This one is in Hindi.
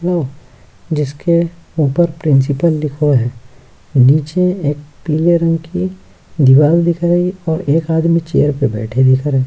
हलो जिसके ऊपर प्रिंसिपल लिखो है नीचे एक पीले रंग की दीवार दिख रही और एक आदमी चेयर पर बैठे देख रहे हैं।